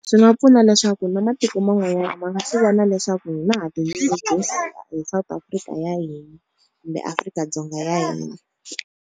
Swi nga pfuna leswaku na matiko man'wanyana ma nga swi vona leswaku hina ha ti nyungubyisa hi South Africa ya hina kumbe Afrika-Dzonga ya hina.